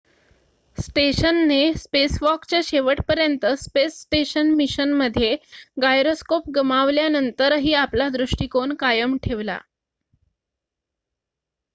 स्टेशनने स्पेसवॉकच्या शेवटपर्यंत space station मिशनमध्ये गायरोस्कोप गमावल्यानंतरही आपला दृष्टिकोन कायम ठेवला